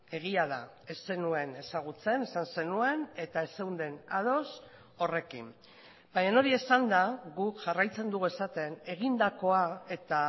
egia da ez zenuen ezagutzen esan zenuen eta ez zeunden ados horrekin baina hori esanda guk jarraitzen dugu esaten egindakoa eta